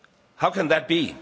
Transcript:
How can that be?